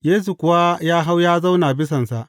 Yesu kuwa ya hau ya zauna bisansa.